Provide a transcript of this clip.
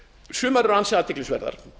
sumar eru ansi athyglisverðar